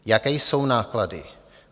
Jaké jsou náklady?